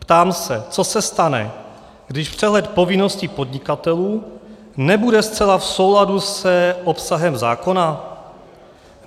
Ptám se, co se stane, když přehled povinností podnikatelů nebude zcela v souladu s obsahem zákona.